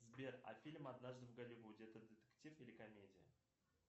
сбер а фильм однажды в голливуде это детектив или комедия